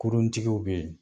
Kuruntigiw be yen